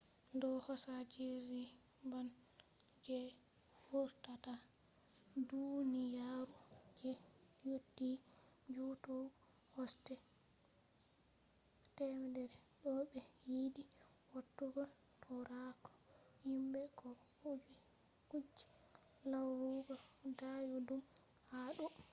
do hosa jirgi man je vurtata duniyaru je yotti jutugo kosde 100 to be yidi watugo tauraro himbe ko kuje larugo dayudum ha do